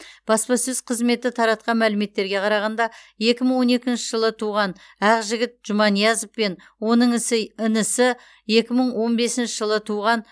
баспасөз қызметі таратқан мәліметтерге қарағанда екі мың он екінші жылы туған ақжігіт жұманиязов пен оның ісі інісі екі мың он бесінші жылы туған